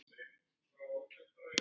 Til afa míns.